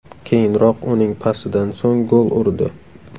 Keyinroq uning pasidan so‘ng gol urdi.